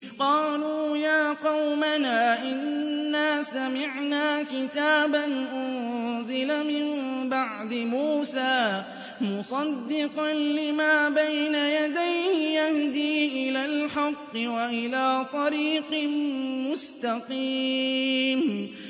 قَالُوا يَا قَوْمَنَا إِنَّا سَمِعْنَا كِتَابًا أُنزِلَ مِن بَعْدِ مُوسَىٰ مُصَدِّقًا لِّمَا بَيْنَ يَدَيْهِ يَهْدِي إِلَى الْحَقِّ وَإِلَىٰ طَرِيقٍ مُّسْتَقِيمٍ